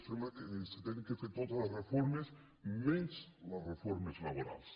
sembla que s’han de fer totes les reformes menys les reformes laborals